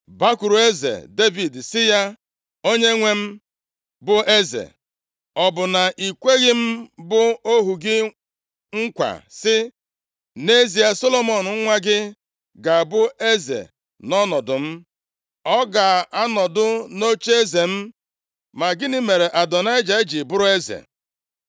Bakwuru eze Devid sị ya, ‘Onyenwe m bụ eze, ọ bụ na i kweghị m bụ ohu gị nkwa sị: “Nʼezie, Solomọn nwa gị ga-abụ eze nʼọnọdụ m, ọ ga-anọdụ nʼocheeze m”? Ma gịnị mere Adonaịja ji bụrụ eze?’